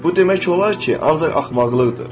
Bu demək olar ki, ancaq axmaqlıqdır.